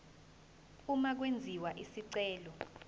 uma kwenziwa isicelo